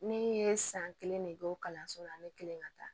Ne ye san kelen ne don kalanso la ne kelen ka taa